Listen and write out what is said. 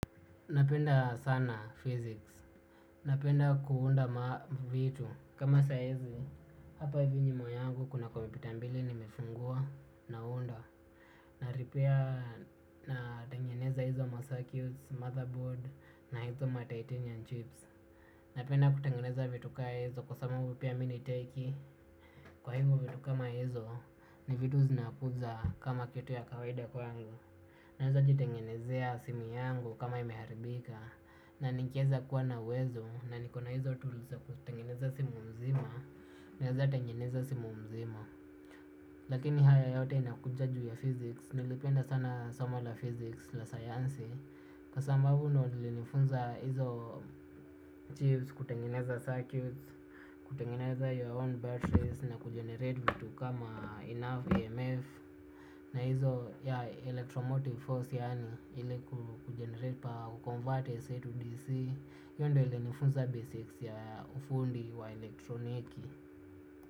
Napenda sana physics, napenda kuunda mavitu kama sa hizi, hapa hivi nyuma yangu kuna kompyuta mbili nimefungua naunda na repair natengeneza hizo macircuits, motherboard na hizo matitanium chips. Napenda kutengeneza vitu ka hizo kwa sababu pia mi ni techy kwa hivyo vitu kama hizo ni vitu zinakuja kama kitu ya kawaida kwangu. Naezajitengenezea simu yangu kama imeharibika. Na nikieza kuwa na uwezo na niko na hizo tools za kutengeneza simu nzima. Naezatengeneza simu mzima. Lakini haya yote inakuja juu ya physics. Nilipenda sana soma la physics la sayansi. Kwa sababu ndio lilinifunza hizo chips kutengeneza circuits. Kutengeneza your own batteries na kugenerate vitu kama enough EMF. Na hizo ya electromotive force yaani ili kugenerate power kuconvert AC to DC. Hiyo ndio ilinifunza basics ya ufundi wa elektroniki.